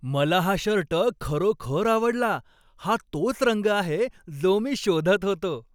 मला हा शर्ट खरोखर आवडला. हा तोच रंग आहे जो मी शोधत होतो.